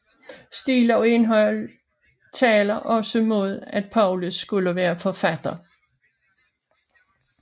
Stil og indhold taler også mod at Paulus skulle være forfatteren